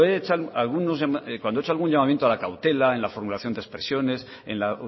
he hecho algún llamamiento a la cautela en la formulación de expresiones en la